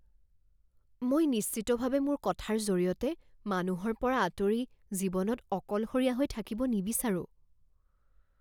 মই নিশ্চিতভাৱে মোৰ কথাৰ জৰিয়তে মানুহৰ পৰা আঁতৰি জীৱনত অকলশৰীয়া হৈ থাকিব নিবিচাৰোঁ।